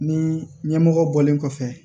Ni ɲɛmɔgɔ bɔlen kɔfɛ